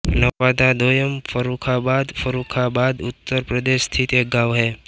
नवादा दोयम फर्रुखाबाद फर्रुखाबाद उत्तर प्रदेश स्थित एक गाँव है